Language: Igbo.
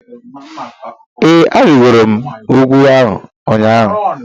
Ee, arịgoro m ugwu a ụnyaahụ